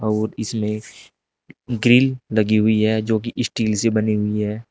और इसमें ग्रिल लगी हुई है जो की स्टील से बनी हुई है।